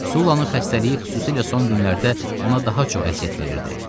Sullanın xəstəliyi, xüsusilə son günlərdə ona daha çox əziyyət verirdi.